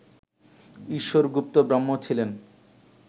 ঈশ্বর গুপ্ত ব্রাহ্ম ছিলেন